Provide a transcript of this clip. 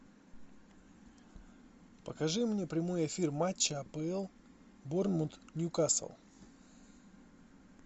покажи мне прямой эфир матча апл борнмут ньюкасл